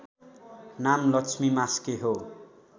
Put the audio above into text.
नाम लक्ष्मी मास्के हो